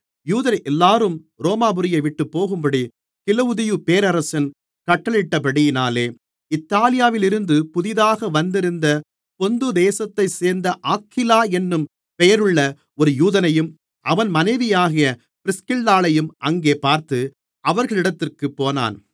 யூதரெல்லோரும் ரோமாபுரியைவிட்டுப்போகும்படி கிலவுதியு பேரரசன் கட்டளையிட்டபடியினாலே இத்தாலியாவிலிருந்து புதிதாக வந்திருந்த பொந்து தேசத்தைச் சேர்ந்த ஆக்கில்லா என்னும் பெயருள்ள ஒரு யூதனையும் அவன் மனைவியாகிய பிரிஸ்கில்லாளையும் அங்கே பார்த்து அவர்களிடத்திற்குப் போனான்